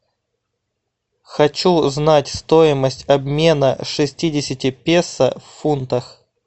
хочу знать стоимость обмена шестидесяти песо в фунтах